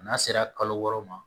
N'a sera kalo wɔɔrɔ ma